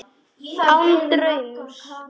Án draums.